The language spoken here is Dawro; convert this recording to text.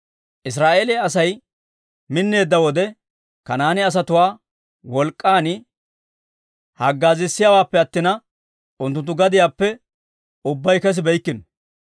Israa'eeliyaa Asay minneedda wode, Kanaane asatuwaa wolk'k'an haggaazissiyaawaappe attina, unttunttu gadiyaappe ubbay kessibeykkino.